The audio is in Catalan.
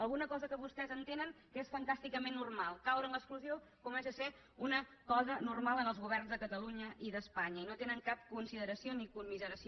alguna cosa que vostès entenen que és fantàsticament normal caure en l’exclusió comença a ser una cosa normal en els governs de catalunya i d’espanya i no tenen cap consideració ni commiseració